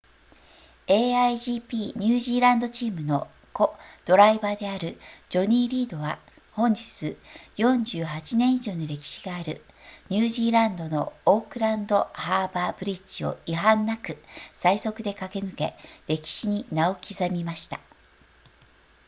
a1gp ニュージーランドチームのコドライバーであるジョニーリードは本日48年以上の歴史があるニュージーランドのオークランドハーバーブリッジを違反なく最速で駆け抜け歴史に名を刻みました